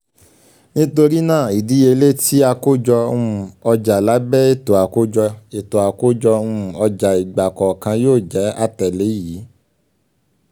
nitori naa idiyele ti akojo um oja labẹ eto akojo um eto akojo um ọja igbakọọkan yoo jẹ atẹle yii: